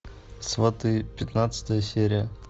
сваты пятнадцатая серия